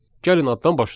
Gəlin addan başlayaq.